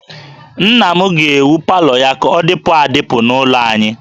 Nna m ga-ewu palọ ya ka ọ dịpụ adịpụ n'ụlọ anyị